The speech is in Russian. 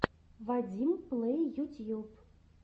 вадим плэй ютьюб